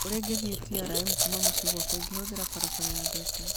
ũrĩa ingĩthiĩ trm kuuma mũciĩ gwakwa ngĩhũthĩra barabara ya Thika